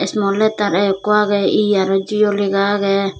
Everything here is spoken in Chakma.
asmwletar A ikko agey E arw jio lega agey.